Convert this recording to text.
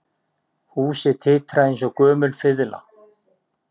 Húsið titraði eins og gömul fiðla